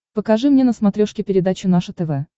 покажи мне на смотрешке передачу наше тв